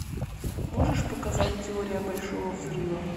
можешь показать теория большого взрыва